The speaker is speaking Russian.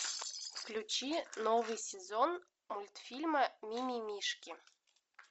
включи новый сезон мультфильма мимимишки